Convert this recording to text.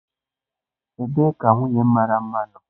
Ebee ka nwunye m mara mma nọ?